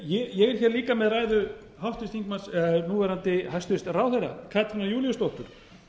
ég er hér líka með ræðu háttvirts þingmanns núverandi hæstvirts ráðherra katrínar júlíusdóttur